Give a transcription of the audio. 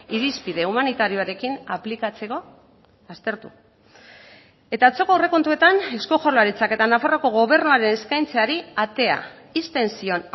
irizpide humanitarioarekin aplikatzeko aztertu eta atzoko aurrekontuetan eusko jaurlaritzak eta nafarroako gobernuaren eskaintzari atea ixten zion